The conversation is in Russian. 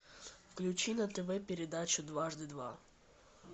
включи на тв передачу дважды два